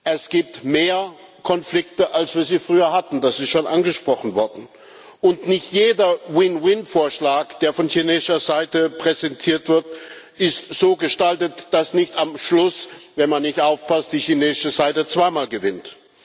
Es gibt mehr Konflikte, als wir früher hatten das ist schon angesprochen worden und nicht jeder Win Win Vorschlag, der von chinesischer Seite präsentiert wird, ist so gestaltet, dass nicht am Schluss, wenn man nicht aufpasst, die chinesische Seite zweimal gewinnt.